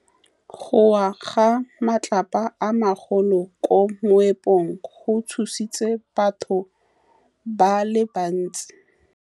Go wa ga matlapa a magolo ko moepong go tshositse batho ba le bantsi.